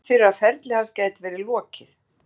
Nú er útlit fyrir að ferli hans gæti verið lokið.